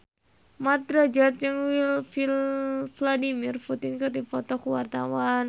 Mat Drajat jeung Vladimir Putin keur dipoto ku wartawan